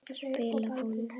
Spila golf?